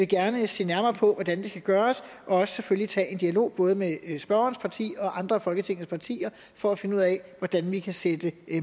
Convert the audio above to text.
gerne se nærmere på hvordan det kan gøres og selvfølgelig også tage en dialog både med spørgerens parti og andre af folketingets partier for at finde ud af hvordan vi kan sætte